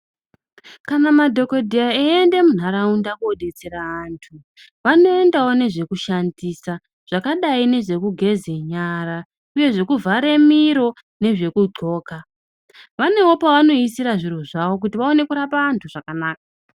Kana madhogodheya eiende muntaraunda kodetsera antu, vanoendawo nezvekushandisa zvakaite sezvekugeze nyara uye zvekuvhare miro nezvekudhloka. Vanewo pevanoisire zviro zvavo kuti vaone kurapa vantu zvakanaka.